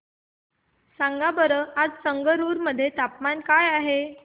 सांगा बरं आज संगरुर मध्ये तापमान काय आहे